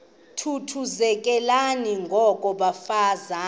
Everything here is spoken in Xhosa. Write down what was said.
thuthuzelekani ngoko bafazana